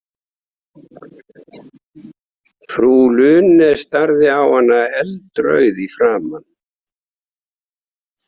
Frú Lune starði á hana, eldrauð í framan.